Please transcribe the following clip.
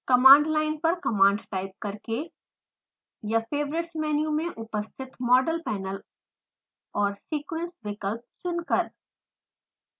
command line पर command type करके या favorites मेनू में उपस्थित model panel और sequence विकप्ल चुनकर